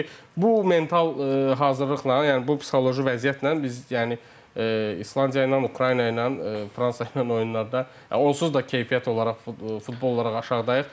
Çünki bu mental hazırlıqla, yəni bu psixoloji vəziyyətlə biz yəni İslandiya ilə, Ukrayna ilə, Fransa ilə oyunlarda onsuz da keyfiyyət olaraq, futbol olaraq aşağıdayıq.